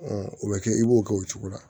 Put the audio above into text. o bɛ kɛ i b'o kɛ o cogo la